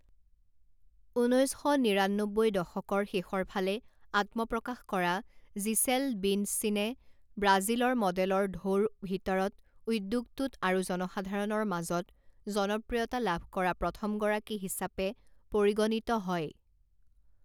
ঊনৈছ শ নিৰান্নব্বৈ দশকৰ শেষৰ ফালে আত্মপ্ৰকাশ কৰা জিচেল বিণ্ডচিনে ব্ৰাজিলৰ মডেলৰ ঢৌৰ ভিতৰত উদ্যোগটোত আৰু জনসাধাৰণৰ মাজত জনপ্ৰিয়তা লাভ কৰা প্ৰথমগৰাকী হিচাপে পৰিগণিত হয়।